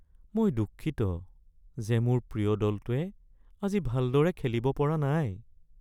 মই দুঃখিত যে মোৰ প্ৰিয় দলটোৱে আজি ভালদৰে খেলিব পৰা নাই।